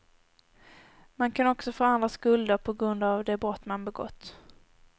Man kan också få andra skulder på grund av de brott man begått.